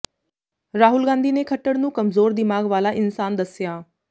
ਰਾਹੁਲ ਗਾਂਧੀ ਨੇ ਖੱਟੜ ਨੂੰ ਕਮਜ਼ੋਰ ਦਿਮਾਗ ਵਾਲਾ ਇਨਸਾਨ ਦੱਸਿਆ